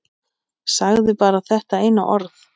Sagði bara þetta eina orð.